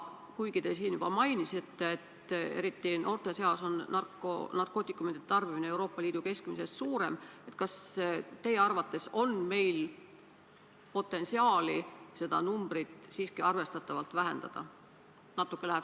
Kuigi te siin juba mainisite, et eriti noorte seas on narkootikumide tarbimine meil Euroopa Liidu keskmisest suurem, siis kas teie arvates on meil potentsiaali seda numbrit siiski arvestatavalt vähendada?